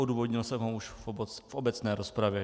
Odůvodnil jsem ho už v obecné rozpravě.